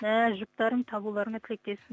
ііі жұптарыңды табуларыңа тілектеспін